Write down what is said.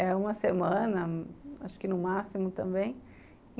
É uma semana, acho que no máximo também.